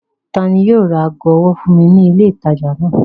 Ta ni yóò ra ago ọwọ́ fún mi ní ilé-ìtajà náà?